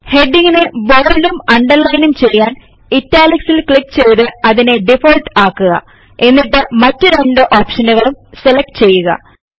heading നെ ബോല്ടും അണ്ടർലയിനും ചെയ്യാൻ italicൽ ക്ലിക്ക് ചെയ്ത് അതിനെ ഡിഫാൾട്ട് ആക്കുക എന്നിട്ട് മറ്റ് രണ്ടു ഒപ്ഷനുകളും സെലക്ട് ചെയ്യുക